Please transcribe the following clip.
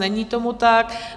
Není tomu tak.